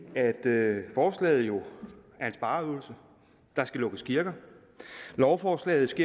at forslaget jo er en spareøvelse der skal lukkes kirker lovforslaget